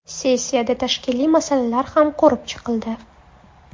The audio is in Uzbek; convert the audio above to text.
Sessiyada tashkiliy masalalar ham ko‘rib chiqildi.